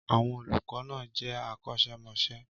Àwọn olùkọ́ náà jẹ́ akọ́ṣẹ́mọṣẹ́.